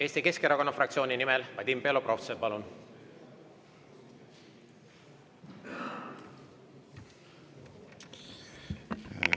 Eesti Keskerakonna fraktsiooni nimel Vadim Belobrovtsev, palun!